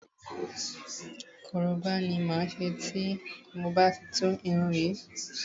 Koroba ni máa ṣe tí mo bá ti tú irun yìí.